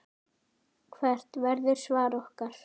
Hvert verður svar okkar?